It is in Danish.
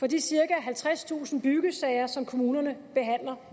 de cirka halvtredstusind byggesager som kommunerne behandler